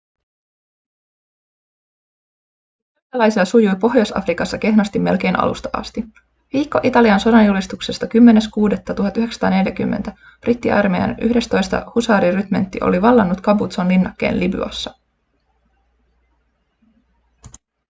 italialaisilla sujui pohjois-afrikassa kehnosti melkein alusta asti. viikko italian sodanjulistuksesta 10.6.1940 brittiarmeijan 11. husaarirymentti oli vallannut capuzzon linnakkeen libyassa